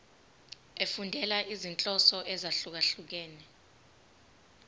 efundela izinhloso ezahlukehlukene